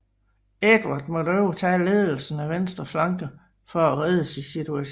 Edvard måtte overtage ledelsen af venstre flanke for at redde situationen